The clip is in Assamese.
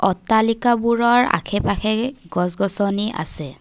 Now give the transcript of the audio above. অট্টালিকাবোৰৰ আশে পাশে গছ গছনি আছে।